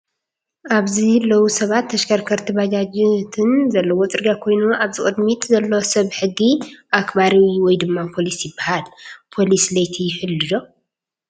ኣብዚ ሎው ሰባት ተሽከርከርቲ ባጃጃትን ዘለዎ ፅርግያ ኮይኑ ኣብዚ ቅድሚት ዘሎ ሰብ ሕጊ ኣክባሪ ወይ ድማ ፖሊስ ይባሃል። ፖሊስ ለይቲ ይሕሉ ዶ?